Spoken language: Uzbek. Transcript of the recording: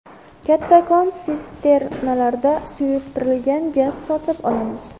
Kattakon sisternalarda suyultirilgan gaz sotib olamiz.